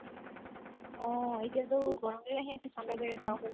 অ এতিয়াটো গৰম দিন আহি আছে